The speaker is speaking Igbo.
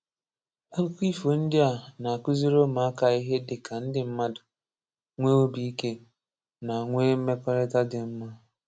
Akụkọ ifo ndị a na-akuziri ụmụaka ihe dị ka ndị mmadụ, nwe obi ike, na nwe mmekọrịta dị mma.